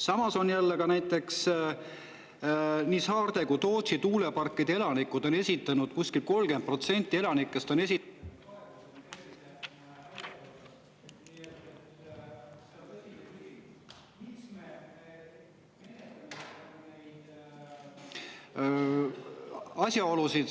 Samas on näiteks nii saarte elanikud kui ka Tootsi tuulepargi – kuskil 30% nendest elanikest – esitanud ……